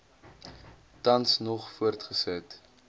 tans nog voortgesit